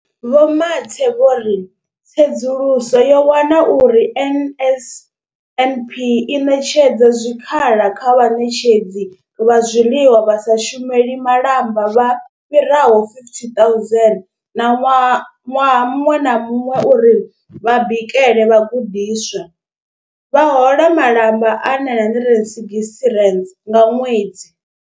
Vho Mathe vho ri, Tsedzuluso yo wana uri NSNP i ṋetshedza zwikhala kha vhaṋetshedzi vha zwiḽiwa vha sa shumeli malamba vha fhiraho 50 000 ṋaṅwaha ṅwaha muṅwe na muṅwe uri vha bikele vhagudiswa, vha hola malamba a R960 nga ṅwedzi.